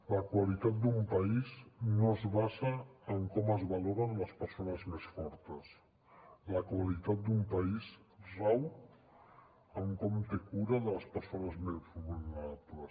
la qualitat d’un país no es basa en com es valoren les persones més fortes la qualitat d’un país rau en com té cura de les persones més vulnerables